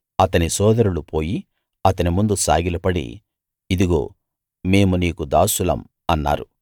అతని సోదరులు పోయి అతని ముందు సాగిలపడి ఇదిగో మేము నీకు దాసులం అన్నారు